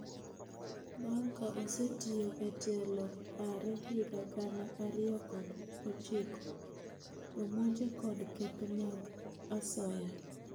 Bang' ka osetiyo e telo aare higa gana ariyo kod ochiko, omonje kod keth mag asoya.